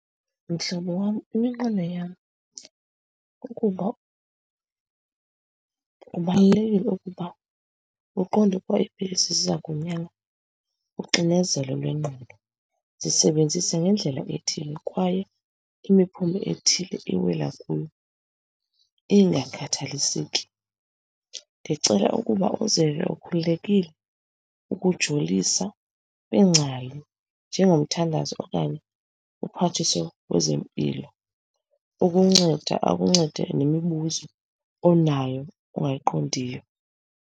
Mhlobo wam, iminqweno yam kukuba kubalulekile ukuba uqonde ukuba iipilisi ziza kunyanga uxinezelo lwengqondo. Zisebenzise ngendlela ethile kwaye imiphumo ethile iwela kuyo ingakhathaliseki. Ndicela ukuba uzive ukhululekile ukujolisa kwiingcali njengomthandazo okanye uMphathiswa wezeMpilo ukunceda akuncede nemibuzo onayo ongayiqondiyo.